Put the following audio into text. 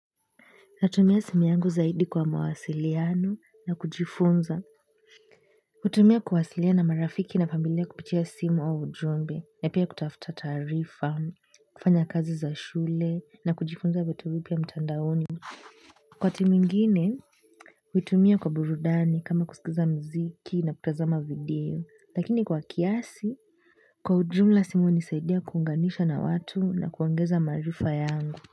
Natumia simu yangu zaidi kwa mawasiliano na kujifunza. Kutumia kuwasiliana na marafiki na familia kupitia simu wa ujumbe. Na pia kutafuta taarifa, kufanya kazi za shule na kujifunza vitu vipya mtandaoni. Kwa timu ingine, kutumia kwa burudani kama kusikiza muziki na kutazama video. Lakini kwa kiasi, kwa ujumla simu hunisaidia kuunganishwa na watu na kuongeza maarifa yangu.